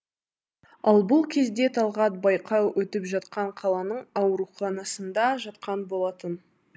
ал бұл кезде талғат байқау өтіп жатқан қаланың ауруханасында жатқан болатын